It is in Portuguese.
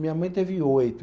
Minha mãe teve oito.